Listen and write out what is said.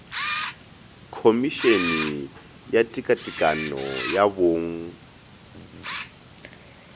khomišene ya tekatekano ya bong